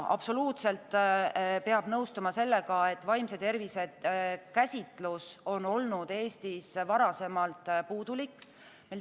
Absoluutselt peab nõustuma sellega, et vaimse tervise käsitlus on olnud Eestis varasemalt puudulik.